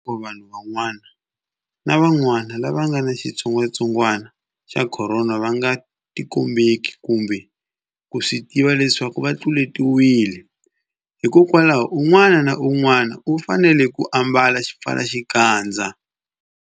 Tanihiloko vanhu van'wana lava nga ni xitsongwantsongwana xa Khorona va nga tikombeki kumbe ku swi tiva leswaku va tluletiwile, hikwalaho unwana na unwana u fanele ku ambala xipfalaxikandza.